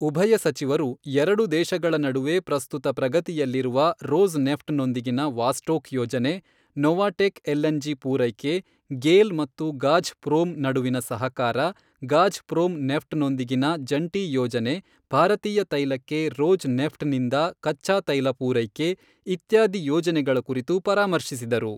ಉಭಯ ಸಚಿವರು ಎರಡು ದೇಶಗಳ ನಡುವೆ ಪ್ರಸ್ತುತ ಪ್ರಗತಿಯಲ್ಲಿರುವ ರೋಸ್ ನೆಫ್ಟ್ ನೊಂದಿಗಿನ ವಾಸ್ಟೋಕ್ ಯೋಜನೆ, ನೊವಾಟೆಕ್ ಎಲ್ಎನ್ ಜಿ ಪೂರೈಕೆ, ಗೇಲ್ ಮತ್ತು ಗಾಝ್ ಪ್ರೋಮ್ ನಡುವಿನ ಸಹಕಾರ, ಗಾಝ್ ಪ್ರೋಮ್ ನೆಫ್ಟ್ ನೊಂದಿಗಿನ ಜಂಟಿ ಯೋಜನೆ ಭಾರತೀಯ ತೈಲಕ್ಕೆ ರೋಜ್ ನೆಫ್ಟ್ ನಿಂದ ಕಚ್ಚಾ ತೈಲ ಪೂರೈಕೆ ಇತ್ಯಾದಿ ಯೋಜನೆಗಳ ಕುರಿತು ಪರಾಮರ್ಶಿಸಿದರು.